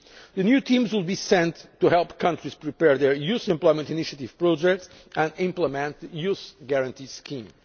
SMEs. The new teams will be sent to help countries prepare their Youth Employment Initiative projects and implement the Youth Guarantee